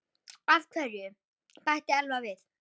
Af hverju? bætti Elvar við.